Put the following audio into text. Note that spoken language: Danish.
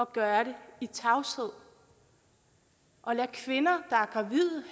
gøre det i tavshed og lader kvinder der